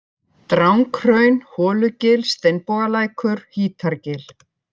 Dranghraun, Holugil, Steinbogalækur, Hítargil